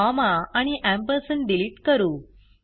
comma आणि ampersand delete करू